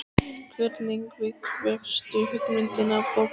Hvernig fékkstu hugmyndina af bókinni?